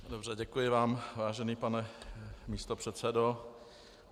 Dobře, děkuji vám, vážený pane místopředsedo.